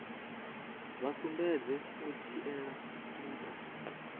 vha sumbedze u dzhiela ntha